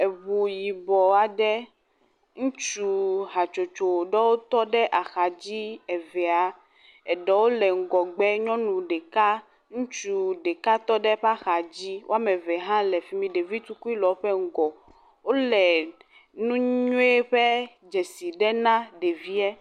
Eŋu yibɔ aɖe ŋutsu hatsotso ɖewo tɔ ɖe axa dzi evea. Eɖewo le ŋgɔgbea nyɔnu ɖeka ŋutsu ɖeka tɔ ɖe eƒe axa dzi wɔme eve hã le fi mi. Ɖevi tukui le eƒe ŋgɔ. Wole nu nyui ƒe dzesi nam ɖevia.